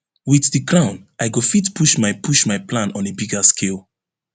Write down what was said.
wit di crown i go fit push my push my plan on a bigger scale